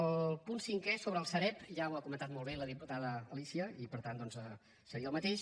el punt cinquè sobre la sareb ja ho ha comentat molt bé la diputada alícia i per tant doncs seria el mateix